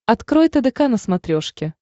открой тдк на смотрешке